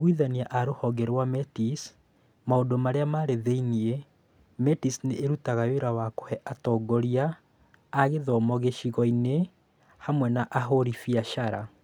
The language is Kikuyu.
Aiguithania a Rũhonge rwa Metis Maũndũ Marĩa Marĩ Thĩinĩ: Metis nĩ ĩrutaga wĩra wa kũhe atongoria a gĩthomo gĩcigo-inĩ, hamwe na ahũri biacara.